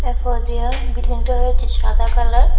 ফোদিয়া বিল্ডিংটা হয়েছে সাদা কালার ।